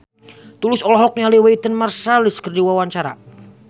Tulus olohok ningali Wynton Marsalis keur diwawancara